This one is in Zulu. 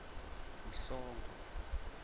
mhlongo